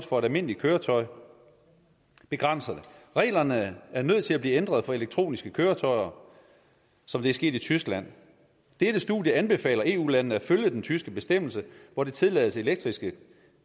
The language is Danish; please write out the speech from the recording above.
for et almindeligt køretøj begrænser det reglerne er nødt til at blive ændret for elektroniske køretøjer som det er sket i tyskland dette studie anbefaler eu landene at følge den tyske bestemmelse hvor det tillades elektriske